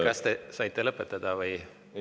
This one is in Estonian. Kas te saite lõpetada või …?